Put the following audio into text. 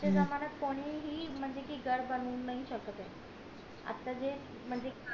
आज च्या जम्नायत कोणीही म्हणजे कि घर बनवू नाही शकत आता जे म्हणजे